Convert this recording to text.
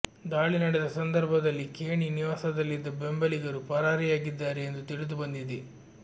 ದಾಳಿ ನಡೆದ ಸಂದರ್ಭದಲ್ಲಿ ಖೇಣಿ ನಿವಾಸದಲ್ಲಿದ್ದ ಬೆಂಬಲಿಗರು ಪರಾರಿಯಾಗಿದ್ದಾರೆ ಎಂದು ತಿಳಿದುಬಂದಿದೆ